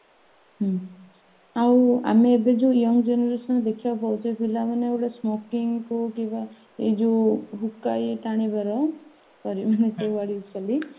ହଁ ଆଉ ଏମେ ଏବେ ଯୋଉ young generationରେ ଦେଖିବାକୁ ପାଉଛେ ପିଲାମାନେ ଏବେ smoking କୁ ଯିବା ଏଇ ଯୋଉ hookah ଇଏ ଟାଣିବାର ସବୁ